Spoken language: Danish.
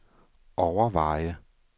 overveje